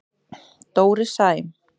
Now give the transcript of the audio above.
Dóri Sæm.